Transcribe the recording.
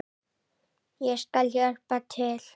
Ég skal hjálpa til.